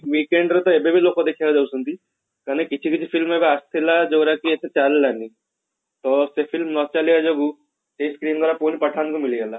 weekend ରେ ତ ଏବେ ବି ଲୋକ ଦେଖିବାକୁ ଯାଉଛନ୍ତି ମାନେ କିଛି କିଛି film ଗୁରା ଆସିଥିଲା ଯୋଉଗୁରା କି ଏତେ ଚାଲିଲାନି ତ ସେ film ନ ଚାଲିବା ଯୋଗୁ ସେ screen ଗୁଡା ପୁଣି pathan କୁ ମିଳିଗଲା